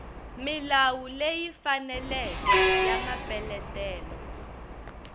milawu leyi faneleke ya mapeletelo